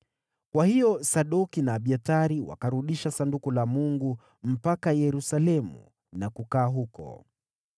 Kwa hiyo Sadoki na Abiathari wakarudisha Sanduku la Mungu mpaka Yerusalemu na kukaa huko.